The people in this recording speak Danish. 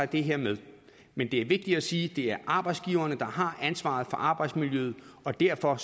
det her med men det er vigtigt at sige at det er arbejdsgiverne der har ansvaret for arbejdsmiljøet og derfor